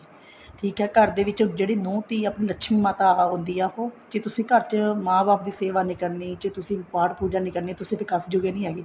ਠੀਕ ਆ ਘਰ ਦੇ ਵਿੱਚ ਜਿਹੜੀ ਨੂੰਹ ਧੀ ਆਪਣੀ ਲਕਸ਼ਮੀ ਮਾਤਾ ਹੁੰਦੀ ਆ ਉਹ ਜੇ ਤੁਸੀਂ ਘਰ ਚ ਮਾਂ ਬਾਪ ਦੀ ਸੇਵਾ ਨੀ ਕਰਨੀ ਤੁਸੀਂ ਪਾਠ ਪੂਜਾ ਨਹੀਂ ਕਰਨੀ ਤੁਸੀਂ ਕਿਸੇ ਕੰਮ ਜੋਗੇ ਨੀ ਹੈਗੇ